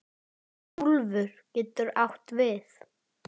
Úlfur getur átt við